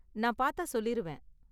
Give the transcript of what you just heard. நான் பார்த்தா சொல்லிருவேன்.